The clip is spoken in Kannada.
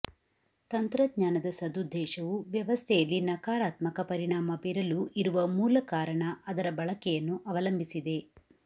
ತಂತ್ರಜ್ಞಾನದ ಸದುದ್ದೇಶವು ವ್ಯವಸ್ಥೆಯಲ್ಲಿ ನಕಾರಾತ್ಮಕ ಪರಿಣಾಮ ಬೀರಲು ಇರುವ ಮೂಲ ಕಾರಣ ಅದರ ಬಳಕೆಯನ್ನು ಅವಲಂಬಿಸಿದೆ